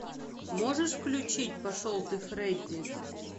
можешь включить пошел ты фредди